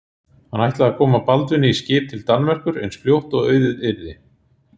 Hann ætlaði að koma Baldvini í skip til Danmerkur eins fljótt og auðið yrði.